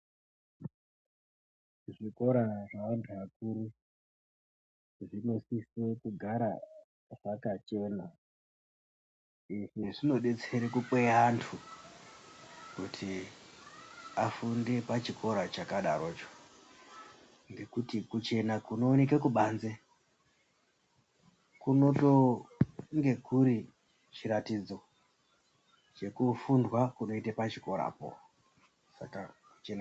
Zvikora zveantu akuru zvinosisa kugara zvakachena izvi zvinosisa kukweya antu kuti afunde pachikora chakadaroko ngekuti kuchena kunoonekwa kubanze kunotonga kuri chiratidzo chekufundwa kunoitwa pachikorapo.